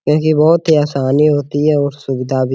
क्योंकि बहुत ही आसानी होती है और सुविधा भी --